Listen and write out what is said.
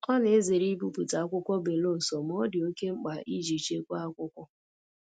Ọ na-ezere ibipụta akwụkwọ belụsọ ma ọ dị oke mkpa iji chekwaa akwụkwọ.